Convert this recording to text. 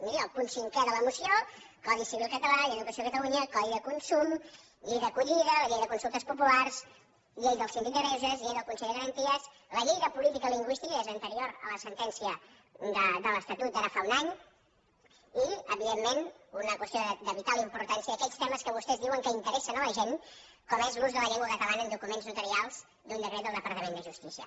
miri el punt cinquè de la moció codi civil català llei d’educació de catalunya codi de consum llei d’acollida la llei de consultes populars llei del síndic de greuges llei del consell de garanties la llei de política lingüística que és anterior a la sentència de l’estatut d’ara fa un any i evidentment una qüestió de vital importància d’aquells temes que vostès diuen que interessen a la gent com és l’ús de la llengua catalana en documents notarials d’un decret del departament de justícia